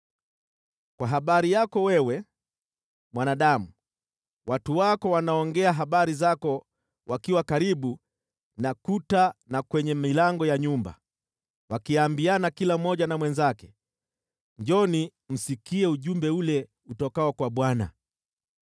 “Kwa habari yako wewe, mwanadamu, watu wako wanaongea habari zako wakiwa karibu na kuta na kwenye milango ya nyumba, wakiambiana kila mmoja na mwenzake, ‘Njooni msikie ujumbe ule utokao kwa Bwana .’